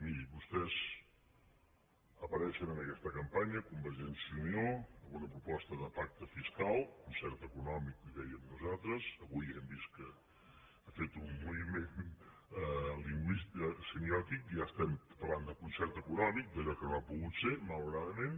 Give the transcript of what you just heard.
miri vostès apareixen en aquesta campanya convergència i unió amb una proposta de pacte fiscal concert econòmic en dèiem nosaltres avui ja hem vist que ha fet un moviment semiòtic ja parlem de concert econòmic d’allò que no ha pogut ser malauradament